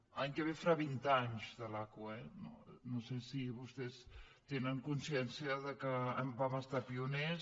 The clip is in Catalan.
l’any que ve farà vint anys de l’aqu eh no sé si vostès en tenen consciència que vam ser pioners